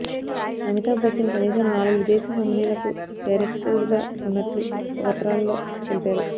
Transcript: అమితాబ్ బచ్చన్ కనీసం నాలుగు విదేశీ కంపెనీల కు డైరెక్టరుగా ఉన్నట్లు పత్రాలలో తెలిపారు